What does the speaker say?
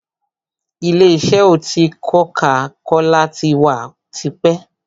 Ìlé isẹ́ oti koka-kola tí wá tipẹ́.